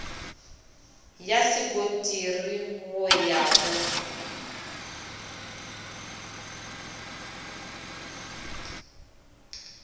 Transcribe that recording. ya sekontiri go ya go